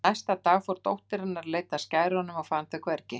Næsta dag fór dóttir hennar að leita að skærunum og fann þau hvergi.